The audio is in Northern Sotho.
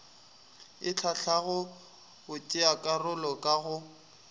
e hlahlago batšeakarolo ka go